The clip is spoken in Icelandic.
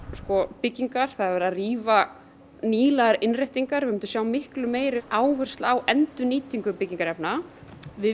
byggingar rífa nýlegar innréttingar við myndum vilja sjá miklu meiri áherslu á endurnýtingu byggingarefna við